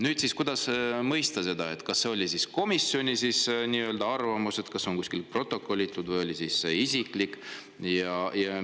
Kuidas seda mõista: kas see oli komisjoni arvamus, mis on kuskil protokollitud, või oli see isiklik arvamus?